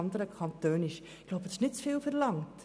Ich denke, dies ist nicht zu viel verlangt.